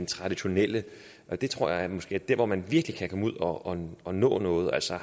traditionelle det tror jeg måske er der hvor man virkelig kan komme ud og og nå noget altså